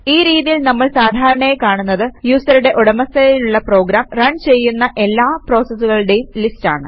ഈ രീതിയിൽ നമ്മൾ സാധാരണയായി കാണുന്നത് യൂസറുടെ ഉടമസ്ഥതയിലുള്ള പ്രോഗാം റൺ ചെയ്യുന്ന എല്ലാ പ്രോസസൂകളുടേയും ലിസ്റ്റ് ആണ്